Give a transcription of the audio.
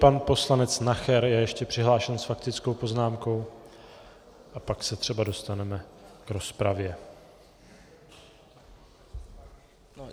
Pan poslanec Nacher je ještě přihlášen s faktickou poznámkou a pak se třeba dostaneme k rozpravě.